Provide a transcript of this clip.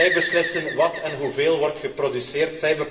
Zij beslissen wat en hoeveel er wordt geproduceerd.